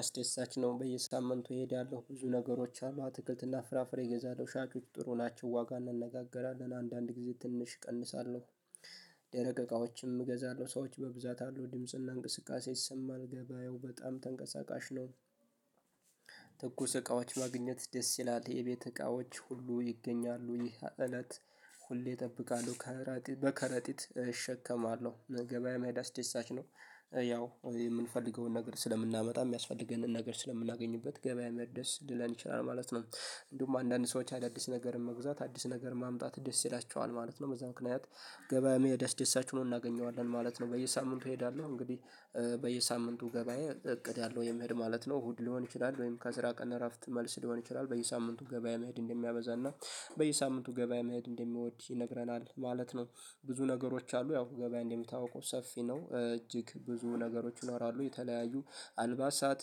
አስደሳች ነው በየሳምንቱ እሄዳለሁ ብዙ ነገሮች አሉ አትክልት እና ፍራፍሬ እገዛለሁ ሻጮች ጥሩ ናቸው ዋጋ እንነጋገራለን አንዳንድ ጊዜ ትንሽ እቀንሳለሁ። ደረቅ እቃዎችም እገዛለሁ ሰዎች በብዛት አሉ ድምጽ እና እንቅስቃሴ ይሰማል ገበያው በጣም ተንቀሳቃሽ ነው። ትኩስ እቃዎች ማግኘት ደስ ይላል የቤት እቃዎች ሁሉ ይገኛሉ ይህ እለት። ሁሌ እጠብቃለሁ ከራጢ በከረጢት እሸከማለሁ ገበያ መሄድ አስደሳች ነው። ያው የምንፈልገውን ነገር ስለምናመጣ የሚያስፈልገንን ነገር ስለምናገኝበት ገበያ መሄድ ደስ ሊለን ይችላል ማለት ነው። እንዲሁም አንዳንድ ሰዎች አዳዲስ ነገርን መግዛት አዲስ ነገር ማምጣት ደስ ይላቸዋል ማለት ነው በዛ ምክንያት። ገበያ መሄድ አስደሳች ሆኖ እናገኘዋለን ማለት ነው በየሳምንቱ እሄዳለሁ እንግዲህ። በየሳምንቱ ገበያ እቅድ አለው የመሄድ ማለት ነው እሁድ ሊሆን ይችላል ወይም ከስራ ቀን እረፍት መልስ ሊሆን ይችላል በየሳምንቱ ገበያ መሄድ እንደሚያበዛ እና በየሳምንቱ ገበያ መሄድ እንደሚወድ ይነግረናል ማለት ነው። ብዙ ነገሮች አሉ ያው ገበያ እንደሚታወቀው ሰፊ ነው እጅግ ብዙ ነገሮች ይኖራሉ የተለያዩ አልባሳት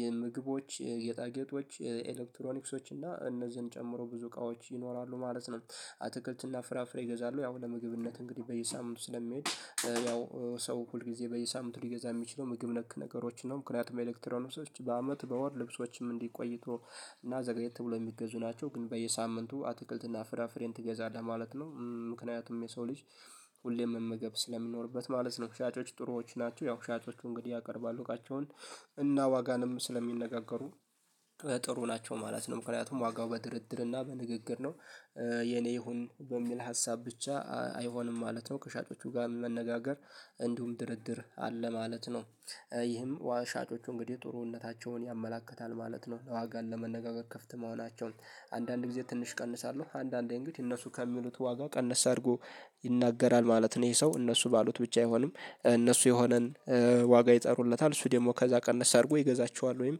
የምግቦች የጌጣጌጦች የኤሌክትሮኒክሶች እና እነዚህን ጨምሮ ብዙ እቃዎች ይኖራሉ ማለት ነው። አትክልት እና ፍራፍሬ ይገዛሉ ያው ለምግብነት እንግዲህ በየሳምንቱ ስለምሄድ። ያው ሰው ሁልጊዜ በየሳምንቱ ሊገዛ የሚችለው ምግብ ነክ ነገሮችን ነው ምክንያቱም ኤሌክትሮኒክሶች በአመት በወር ልብሶችም እንዲህ ቆይቶ እና ዘግየት ብሎ የሚገዙ ናቸው ግን በየሳምንቱ አትክልት እና ፍራፍሬን ትገዛለህ ማለት ነው። ምክንያቱም የሰው ልጅ ሁሌም መመገብ ስለሚኖርበት ማለት ነው። ሻጮች ጥሩዎች ናቹ ያው ሻጮቹ እንግዲህ ያቀርባሉ እቃቸውን እና ዋጋንም ስለሚነጋገሩ ጥሩ ናቸው ማለት ነው ምክንያቱም ዋጋው በድርድር እና በንግግር ነው። የኔ ይሁን በሚል ሀሳብ ብቻ አይሆንም ማለት ነው ከሻጮቹ ጋር መነጋገር እንዲሁም ድርድር አለ ማለት ነው። ይህም ዋ ሻጮቹ እንግዲህ ጥሩነታቸውን ያመላክታል ማለት ነው ለዋጋን ለመነጋገር ክፍት መሆናቸውን። አንዳንድ ጊዜ ትንሽ ቀንሳለሁ አንዳንዴ እንግዲህ እነሱ ከሚሉት ዋጋ ቀነስ አርጎ ይናገራል ማለት ነው። ይሄ ሰው እነሱ ባሉት ብቻ አይሆንም እነሱ የሆነን ዋጋ ይጠሩለታል እሱ ደግሞ ከዛ ቀነስ አርጎ ይገዛቸዋል ወይም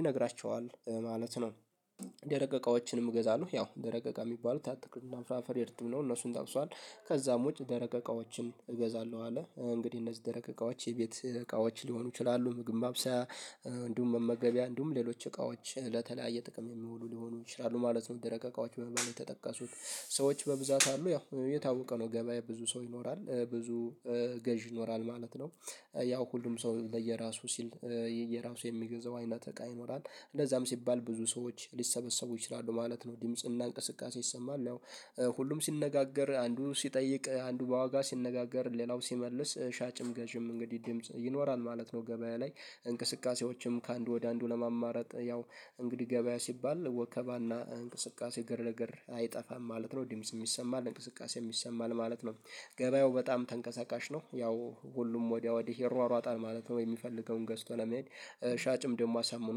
ይነግራቸዋል ማለት ነው። ደረቅ እቃዎችንም እገዛለሁ ያው ደረቅ እቃ ሚባሉት አትክልት እና ፍራፍሬ እርትም ነው እነሱን ጠቅሷል ከዛም ውጭ ደረቅ እቃዎችን እገዛለሁ አለ እንግዲህ እነዚህ ደረቅ እቃዎች የቤት እቃዎች ሊሆኑ ይችላሉ ምግብ ማብሰያ። እንዲሁም መመገቢያ እንዲሁም ሌሎች እቃዎች ለተለያየ ጥቅም የሚውሉ ሊሆኑ ይችላሉ ማለት ነው። ደረቅ እቃዎች በመባል የተጠቀሱት ሰዎች በብዛት አሉ ያው የታወቀ ነው ገበያ ብዙ ሰው ይኖራል ብዙ ገዢ ይኖራል ማለት ነው። ያው ሁሉም ሰው ለየራሱ ሲል የየራሱ የሚገዛው አይነት እቃ ይኖራል እንደዛም ሲባል ብዙ ሰዎች ሊሰበሰቡ ይችላሉ ማለት ነው። ድምጽ እና እንቅስቃሴ ይሰማል ያው ሁሉም ሲነጋገር አንዱ ሲጠይቅ አንዱ በዋጋ ሲነጋገር ሌላው ሲመልስ ሻጭም ገዥም እንግዲህ ድምጽ ይኖራል ማለት ነው። ገበያ ላይ እንቅስቃሴዎችም ከአንዱ ወደ አንዱ ለማማረጥ ያው እንግዲህ ገበያ ሲባል ወከባ እና እንቅስቃሴ ግርግር አይጠፋም ማለት ነው ድምጽም ይሰማል እንቅስቃሴም ይሰማል ማለት ነው። ገበያው በጣም ተንቀሳቃሽ ነው ያው ሁሉም ወዲያ ወዲህ ይሯሯጣል ማለት ነው የሚፈልገውን ገዝቶ ለመሄድ። ሻጭም ደግሞ አሳምኖ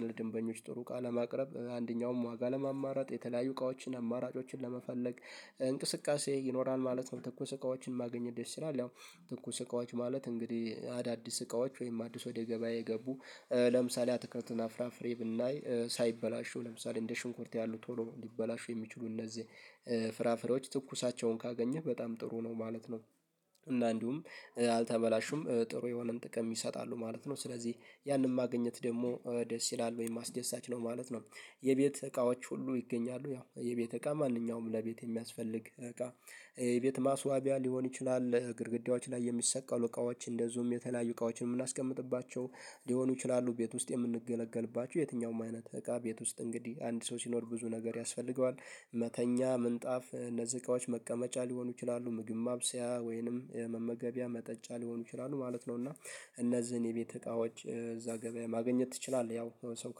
ለደንበኞች ጥሩ እቃ ለማቅረብ አንደኛውም ዋጋ ለማማረጥ የተለያዩ እቃዎችን አማራጮችን ለመፈለግ እንቅስቃሴ ይኖራል ማለት ነው። ትኩስ እቃዎችን ማግኘት ደስ ይላል ያው ትኩስ እቃዎች ማለት እንግዲህ አዳዲስ እቃዎች ወይም አዲስ ወደ ገበያ የገቡ ለምሳሌ አትክልት እና ፍራፍሬ ብናይ ሳይበላሹ ለምሳሌ እንደ ሽንኩርት ያሉ ቶሎ ሊበላሹ የሚችሉ እነዚህ ፍራፍሬዎች ትኩሳቸውን ካገኘህ በጣም ጥሩ ነው ማለት ነው። እና እንዲሁም አልተበላሹም ጥሩ የሆነን ጥቅም ይሰጣሉ ማለት ነው ስለዚህ ያንን ማግኘት ደግሞ ደስ ይላል ወይም አስደሳች ነው ማለት ነው። የቤት እቃዎች ሁሉ ይገኛሉ ያው የቤት እቃ ማንኛውም ለቤት የሚያስፈልግ እቃ የቤት ማስዋቢያ ሊሆን ይችላል ግርግዳዎች ላይ የሚሰቀሉ እቃዎች እንደዚሁም የተለያዩ እቃዎች የምናስቀምጥባቸው ሊሆኑ ይችላሉ ቤት ውስጥ የምንገለገልባቸው የትኛውም አይነት እቃ ቤት ውስጥ እንግዲህ አንድ ሰው ሲኖር ብዙ ነገር ያስፈልገዋል። መተኛ ምንጣፍ እነዚህ እቃዎች መቀመጫ ሊሆኑ ይችላሉ ምግብ ማብሰያ ወይንም የመመገቢያ መጠጫ ሊሆኑ ይችላሉ ማለት ነው። እና እነዚህን የቤት እቃዎች እዛ ገበያ ማግኘት ትችላለህ ያው ሰው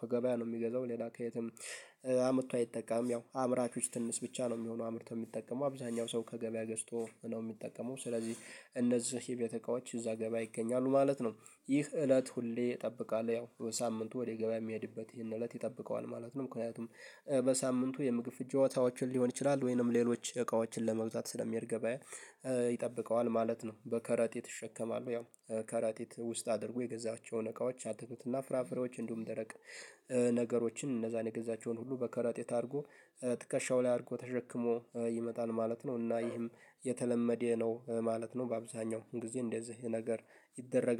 ከገበያ ነው ሚገዛው ሌላ ከየትም። አምርቶ አይጠቀምም ያው አምራቾች ትንሽ ብቻ ነው ሚሆነው አምርቶ ሚጠቀመው አብዛኛው ሰው ከገበያ ገዝቶ ነው ሚጠቀመው ስለዚህ እነዚህ የቤት እቃቶች እዛ ገበያ ይገኛሉ ማለት ነው። ይህ እለት ሁሌ እጠብቃለሁ ያው በሳምንቱ ወደ ገበያ ሚሄድበት ይሄን እለት ይጠብቀዋል ማለት ነው ምክንያቱም በሳምንቱ የምግብ ፍጆታዎችን ሊሆን ይችላል ወይንም ሌሎች እቃዎችን ለመግዛት ስለሚሄድ ገበያ። ይጠብቀዋል ማለት ነው። በከረጢት እሸከማለሁ ያው ከረጢት ውስጥ አድርጎ የገዛቸውን እቃዎች አትክልት እና ፍራፍሬዎች እንዲሁም ደረቅ ነገሮችን እነዛን የገዛቸውን ሁሉ በከረጢት አርጎ ትከሻው ላይ አርጎ ተሸክሞ ይመጣል ማለት ነው። እና ይህም የተለመደ ነው ማለት ነው። በአብዛኛው ጊዜ እንደዚህ ነገር ይደረጋል